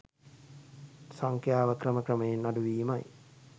සංඛ්‍යාව ක්‍රම ක්‍රමයෙන් අඩුවීමයි.